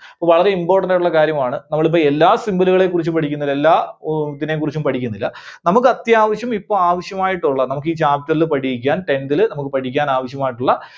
വളരെ important ആയിട്ടുള്ള കാര്യമാണ്. നമ്മള് ഇപ്പോ എല്ലാ symbol കളെ കുറിച്ച് പഠിക്കുന്നില്ല. എല്ലാ അഹ് ഇതിനെക്കുറിച്ചും പഠിക്കുന്നില്ല. നമുക്ക് അത്യാവശ്യം ഇപ്പോ ആവശ്യമായിട്ടുള്ള നമുക്ക് ഈ chapter ൽ പഠിക്കാൻ tenth ല് നമുക്ക് പഠിക്കാൻ ആവശ്യമായിട്ടുള്ള